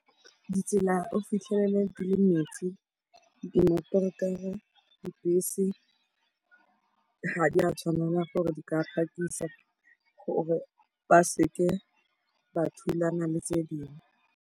Ditsela o fitlhelele di le metsi, di dibese ga di a tshwanela gore di ka phakisa gore ba seke ba thulana le tse dingwe.